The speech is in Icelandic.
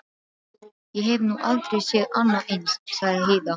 Ég hef nú aldrei séð annað eins, sagði Heiða.